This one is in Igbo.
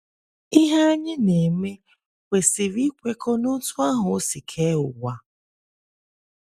Ihe anyị na - eme kwesịrị ịkwekọ n’otú ahụ o si kee ụwa.